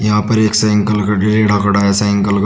यहां पर एक साइंकल का रेडा खड़ा है साइंकल --